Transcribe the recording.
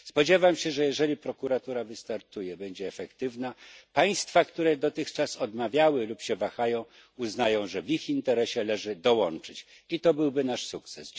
Spodziewam się, że jeżeli prokuratura wystartuje i będzie efektywna, państwa, które dotychczas odmawiały lub się wahają, uznają, że w ich interesie leży dołączyć i to byłby nasz sukces.